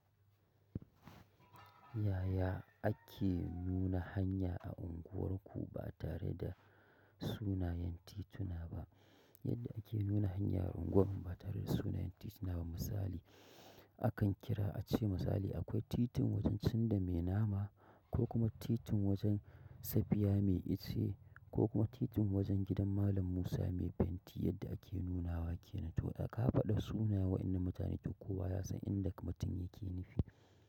Yaya ake nuna hanya a unguwarku ba tare da sunayen tituna ba? Yadda ake nuna hanya a unguwar mu ba tare da sunayen tituna ba misali, akan kira a ce misali akwai titin wajen cin da mai nama ko kuma titin wajen safiya mai ice ko kuma titin wajen gidan malam Musa mai fenti yadda ake nunawa ke nan. To da ka faɗa sunaye waɗannan mutane to kowa ya san inda mutum yake nufi.